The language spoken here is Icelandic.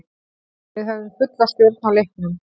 Við höfðum fulla stjórn á leiknum.